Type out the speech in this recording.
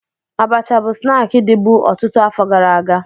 Abacha bụ snaakị dịbu ọtụtụ afọ gara aga